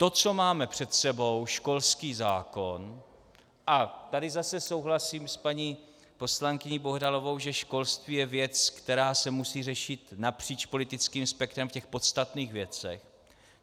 To, co máme před sebou, školský zákon - a tady zase souhlasím s paní poslankyní Bohdalovou, že školství je věc, která se musí řešit napříč politickým spektrem v těch podstatných věcech.